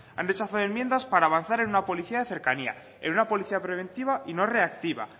han rechazado enmiendas para avanzar en una policía de cercanía en una policía preventiva y no reactiva